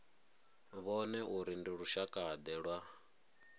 vhone uri ndi lushakade lwa